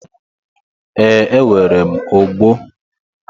E, nwere m ogbo.